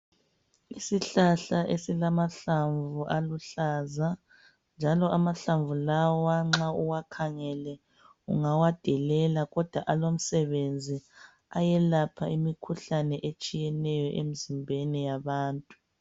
Isihlahla esilamahlamvu aluhlaza, njalo amahlamvu lawa nxa uwakhangele ungawadelela kodwa alomsebenzi ayelapha imikhuhlane etshiyeneyo emzimbeni yabantu.